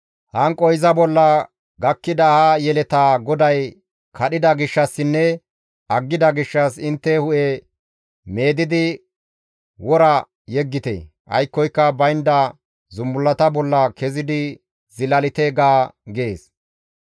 Hanqoy iza bolla gakkida ha yeletaa GODAY kadhida gishshassinne aggida gishshas intte hu7e meedidi wora yeggite; aykkoyka baynda zumbullata bolla kezidi zilalite› ga» gees.